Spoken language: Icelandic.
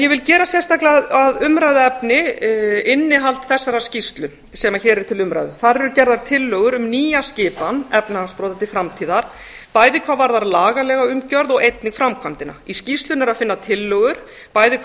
ég vil gera sérstaklega að umræðuefni innihald þessarar skýrslu sem hér er til umræðu þar eru gerðar tillögur um nýja skipan efnahagsbrota til framtíðar bæði hvað varðar lagalega umgjörð og einnig framkvæmdina í skýrslunni er að finna tillögur bæði hvað